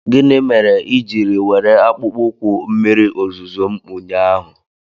Gịnị mere i jiri were akpụkpọ ụkwụ mmiri ozuzo m ụnyaahụ?